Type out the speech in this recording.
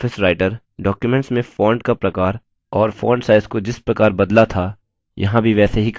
libreoffice writer documents में font का प्रकार और font size को जिस प्रकार बदला था यहाँ भी वैसे ही कर सकते हैं